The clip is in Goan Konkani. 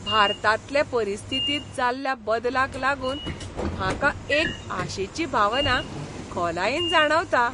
भारतांतले परिस्थितींत जाल्ल्या बदलाक लागून म्हाका एक आशेची भावना खोलायेन जाणवता .